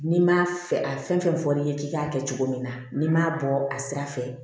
N'i ma fɛ a fɛn fɛn fɔ n'i ye k'i k'a kɛ cogo min na n'i m'a bɔ a sira fɛ